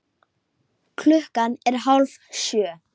Tóti roðnaði enn meira.